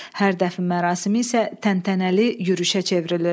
Hər dəfn mərasimi isə təntənəli yürüşə çevrilirdi.